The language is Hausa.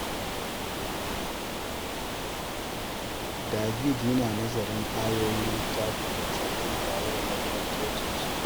David yana nazarin Ayoyin Littafi Mai Tsarki tare da faston cocinsu.